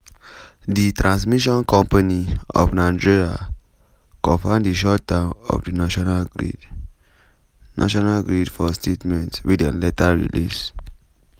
di transmission company of nigeria confam di shutdown of di national grid national grid for statement wey dem later release.